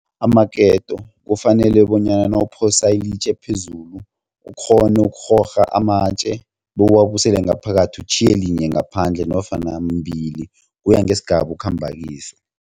Amaketo kufanele bonyana nawuphosa ilitje phezulu ukghone ukurhorha amatje bewuwabuyisela ngaphakathi utjhiye linye ngaphandle nofana mbili kuya ngesigaba okhamba kiso.